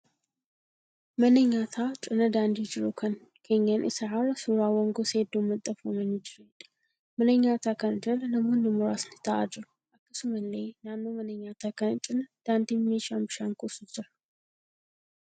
Mana nyaataa cina daandii jiru kan keenyan isaa irra suuraawwan gosa hedduun maxxanfamanii jiraniidha. Mana nyaataa kana jala namoonni muraasni ta'aa jiru. Akkasumallee naannoo mana nyaataa kana cina daandiin meeshaan bishaan kuusu jira.